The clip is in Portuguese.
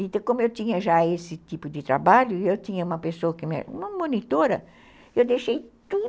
Então, como eu tinha já esse tipo de trabalho, eu tinha uma pessoa que me... uma monitora, eu deixei tudo.